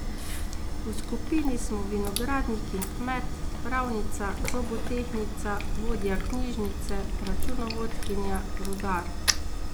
V skupini smo vinogradnik in kmet, pravnica, zobotehnica, vodja knjižnice, računovodkinja, rudar ...